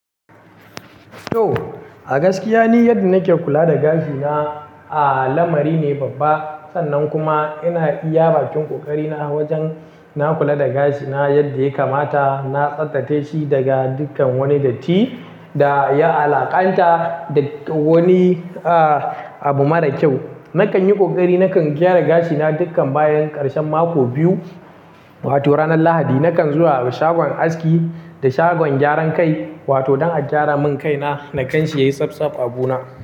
Toh a gaskiya ni yadda nake kula da gashina, a lamari ne babba. Sannan kuma ina iya baƙin ƙoƙari na wajen na kula da gashina yadda ya kamata. Na tsattsace shi daga dukan wani datti da ya alaƙanta da wani, a abu mara kyau. Nakan yi ƙoƙari nakan gyara gashina dukkan bayan ƙarshen mako biyu, wato ranar Lahadi. Nakan zuwa shagon aski da shagon gyaran kai, wato don a gyara min kaina, na kan shi yayi tsaf tsaf a bu na.